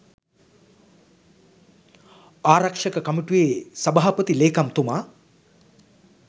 ආරක්‍ෂක කමිටුවේ සභාපති ලේකම්තුමා